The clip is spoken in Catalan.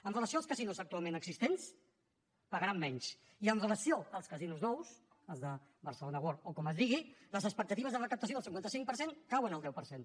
amb relació als casinos actualment existents pagaran menys i amb relació als casinos nous els de barcelona world o com es digui les expectatives de recaptació del cinquanta cinc per cent cauen al deu per cent